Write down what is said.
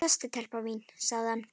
Sestu telpa mín, sagði hann.